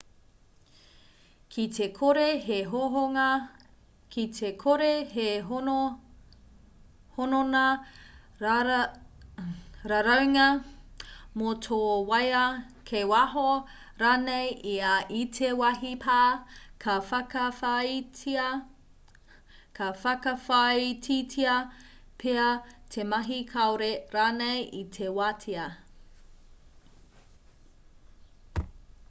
ki te kore he hononga raraunga mō tō waea kei waho rānei ia i te wāhi pā ka whakawhāititia pea te mahi kāore rānei i te wātea